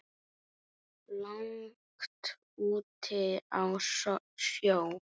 langt úti á sjó.